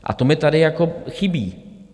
A to mi tady jako chybí.